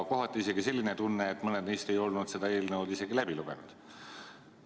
Kohati jäi isegi selline tunne, et mõned neist ei olnud seda eelnõu isegi läbi lugenud.